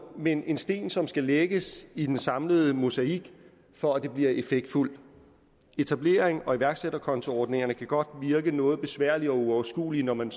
men en sten som skal lægges i den samlede mosaik for at det bliver effektfuldt etablerings og iværksætterkontoordningerne kan godt virke noget besværlige og uoverskuelige når man